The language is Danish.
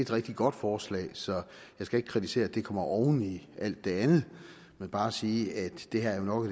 rigtig godt forslag så jeg skal ikke kritisere at det kommer oven i alt det andet men bare sige at det her jo nok